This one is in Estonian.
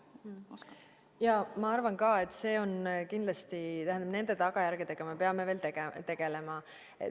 Jaa, ma arvan ka, et kindlasti nende tagajärgedega me peame veel tegelema.